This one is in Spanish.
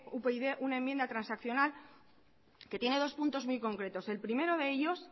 upyd una enmienda transaccional que tiene dos puntos dos concretos el primero de ellos